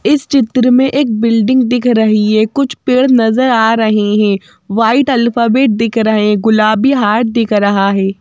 इस चित्र में एक बिल्डिंग दिख रही है कुछ पेड़ नजर आ रहे हैं वाइट अल्फाबेट दिख रहे हैं गुलाबी हार्ट दिख रहा है।